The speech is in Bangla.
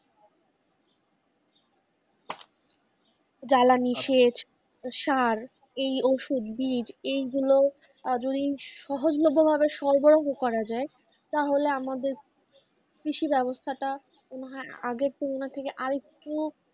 জ্বালানি সেছ সার এই ওষুধ বিজ এই গুলো যদি সহজ লভ্য ভাভে সরবরাহ করা যায় তাহলে আমাদের কৃষি ব্যাবস্থা টা আগের তুলনা থেকে আরেকটু,